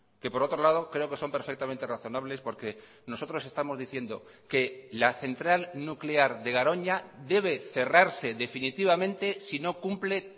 que por otro lado creo que son perfectamente razonables porque nosotros estamos diciendo que la central nuclear de garoña debe cerrarse definitivamente si no cumple